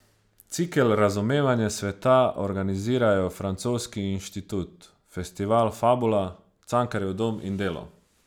Cikel Razumevanje sveta organizirajo Francoski inštitut, festival Fabula, Cankarjev dom in Delo.